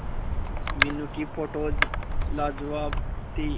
मीनू की फोटोज लाजवाब थी